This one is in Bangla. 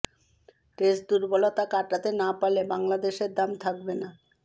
টেস্ট দুর্বলতা কাটাতে না পারলে বাংলাদেশের দাম থাকবে না